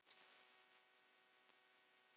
Bull og lygi